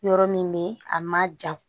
Yɔrɔ min bɛ a ma jan